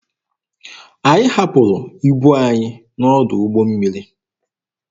Anyị hapụrụ ibu anyị n'ọdụ ụgbọ mmiri.